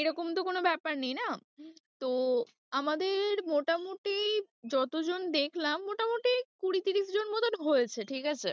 এরকম তো কোনো ব্যাপার নেই না, তো আমাদের মোটামুটি যতজন দেখলাম মোটামুটি কুড়ি-তিরিশ জন মতন হয়েছে ঠিক আছে।